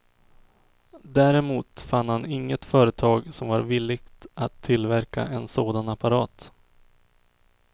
Däremot fann han inget företag som var villigt att tillverka en sådan apparat.